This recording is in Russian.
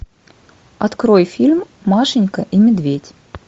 открой фильм машенька и медведь